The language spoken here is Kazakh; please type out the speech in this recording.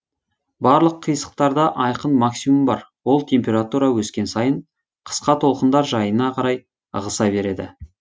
барлық қисықтарда айқын максимум бар ол температура өскен сайын қысқа толқындар жайына қарай ығыса береді